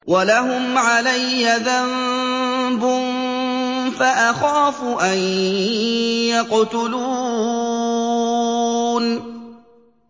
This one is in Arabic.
وَلَهُمْ عَلَيَّ ذَنبٌ فَأَخَافُ أَن يَقْتُلُونِ